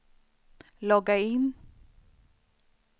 logga in